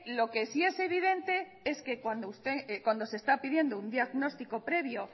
lo que sí es evidente es que cuando se está pidiendo un diagnóstico previo